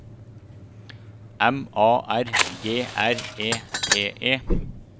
M A R G R E T E